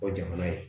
O jamana ye